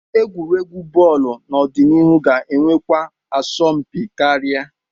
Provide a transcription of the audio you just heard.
Egwuregwu bọọlụ n'ọdịnihu ga-enwekwa asọmpi karịa.